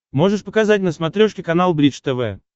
можешь показать на смотрешке канал бридж тв